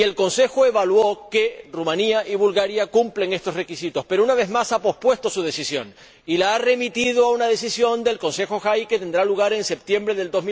El Consejo consideró que Rumanía y Bulgaria cumplen estos requisitos, pero, una vez más, ha pospuesto su decisión y la ha remitido a una decisión del Consejo JAI en una reunión que tendrá lugar en septiembre de